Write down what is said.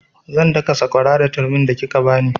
Zan daka sakwara da turmin da kika bani